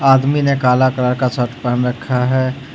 आदमी ने काला कलर का शर्ट पहन रखा है।